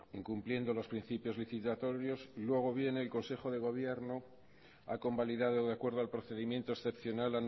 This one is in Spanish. incumpliendo los principios licitatorios y luego viene el consejo de gobierno ha convalidado de acuerdo al procedimiento excepcional